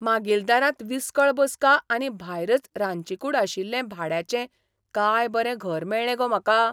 मागील दारांत विसकळ बसका आनी भायरच रांदचीकूड आशिल्लें भाड्याचें कांय बरें घर मेळ्ळें गो म्हाका!